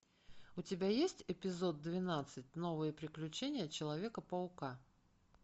у тебя есть эпизод двенадцать новые приключения человека паука